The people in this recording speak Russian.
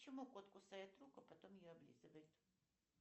почему кот кусает руку а потом ее облизывает